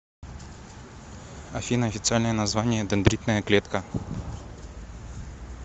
афина официальное название дендритная клетка